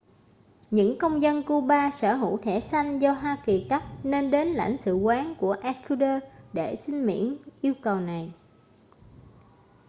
những công dân cuba sở hữu thẻ xanh do hoa kỳ cấp nên đến lãnh sự quán của ecuador để xin miễn yêu cầu này